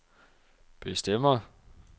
bestemmer